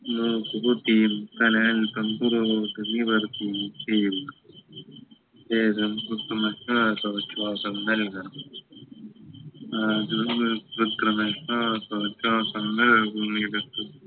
മൂക്ക് കുത്തിയും തല അല്പം പുറകോട്ട് നിവർത്തിയും ചെയ്യുന്നു ശേഷം കൃത്രിമ ശ്വാസോച്ഛാസം നൽകണം കൃത്രിമ ശ്വാസോച്ഛാസം നല്കുന്നിടത്ത്